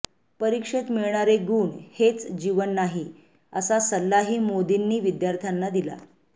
परीक्षेत मिळणारे गुण हेच जीवन नाही असा सल्लाही मोदींनी विद्यार्थ्यांना दिला